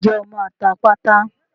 Ǹjẹ́ o máa ta pátá?